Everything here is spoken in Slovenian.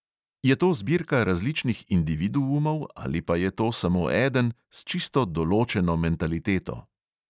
Je to zbirka različnih individuov ali pa je to samo eden, s čisto določeno mentaliteto?